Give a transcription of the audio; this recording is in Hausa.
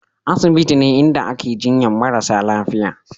Asibiti ne inda ake jinyar marasa lafiya